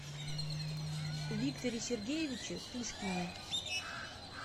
викторе сергеевиче пушкине